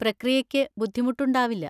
പ്രക്രിയയ്ക്ക് ബുദ്ധിമുട്ടുണ്ടാവില്ല.